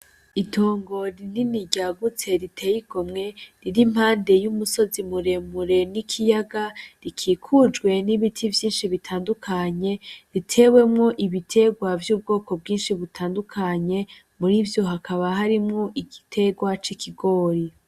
Itongora inini ryagutse riteyigomwe riri impande y'umusozi muremure n'ikiyaga rikikujwe n'ibiti vyinshi bitandukanye ritewemwo ibiterwa vy'ubwoko bwinshi butandukanye muri vyo hakaba harimwo igiterwa c'i kigori.